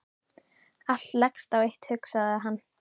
Allt leggst á eitt hugsaði hann.